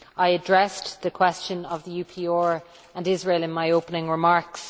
I addressed the question of the UPR and Israel in my opening remarks.